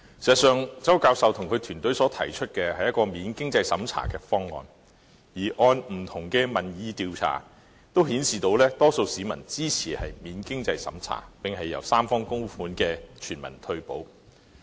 周教授及其團隊所提出的，是一個免經濟審查的方案；而不同的民意調查都顯示，多數市民支持免經濟審查，並設立由三方供款的全民退休保障方案。